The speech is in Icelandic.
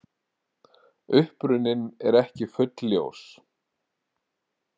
Uppruninn er ekki fulljós.